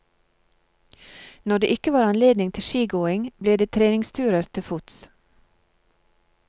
Når det ikke var anledning til skigåing, ble det treningsturer til fots.